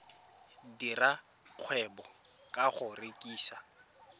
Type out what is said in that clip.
dira kgwebo ka go rekisa